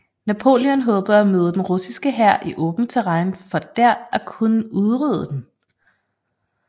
Napoleon håbede at møde den russiske hær i åbent terræn for der at kunne udrydde den